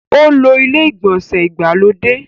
Ó lo ilé-ìgbọ̀nsẹ̀ ìgbàlódé.